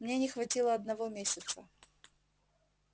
мне не хватило одного месяца